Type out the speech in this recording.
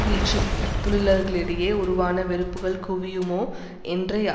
வீழ்ச்சிதொழிலாளர்களிடையே உருவான வெறுப்புக்கள் குவியுமோ என்ற